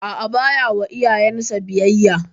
A'a, ba ya wa iyayen sa biyayya.